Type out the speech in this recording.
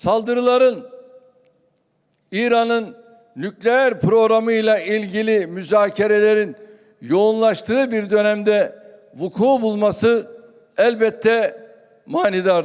Saldırıların İranın nükleer programı ile ilgili müzakirələrin yoğunlaştığı bir dönəmdə vuku bulması elbəttə manidardır.